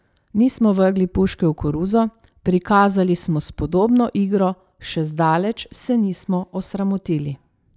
Nismo vrgli puške v koruzo, prikazali smo spodobno igro, še zdaleč se nismo osramotili.